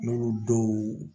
N'olu dɔw